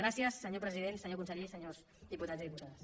gràcies senyor president senyor conseller i senyors diputats i diputades